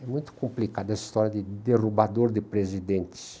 É muito complicado essa história de derrubador de presidentes.